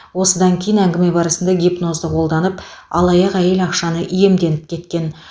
осыдан кейін әңгіме барысында гипнозды қолданып алаяқ әйел ақшаны иемденіп кеткен